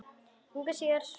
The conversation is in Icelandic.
Engu að síður sú sama.